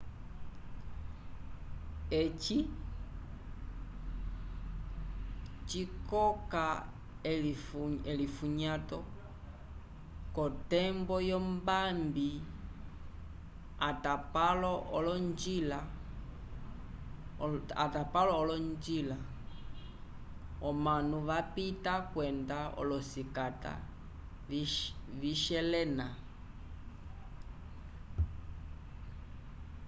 eci cikoka elifunyato k'otembo yombambi atapalo olonjila omanu vapita kwenda olosikata vishelena